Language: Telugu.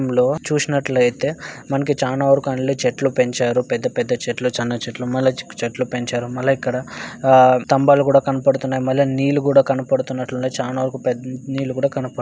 చూసినట్లయితే వెనుక చాలా వరకు చెట్లు పెంచారు.పెద్ద పెద్ద చెట్లు చిన్న చిన్న చెట్లు ముల్ల చెట్లు పెంచారు.మల్ల ఇక్కడ స్తంభాలు కూడా కనబడుతున్నాయి.మల్ల నీళ్లు కూడా కనబడుతున్నాయి.చాలావరకు--